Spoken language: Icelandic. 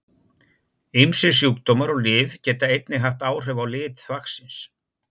Ýmsir sjúkdómar og lyf geta einnig haft áhrif á lit þvagsins.